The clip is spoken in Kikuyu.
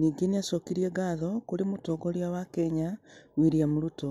Ningĩ nĩ acokirie ngatho kũrĩ Mũtongoria wa Kenya William Ruto